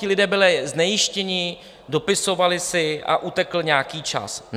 Ti lidé byli znejistěni, dopisovali si a utekl nějaký čas.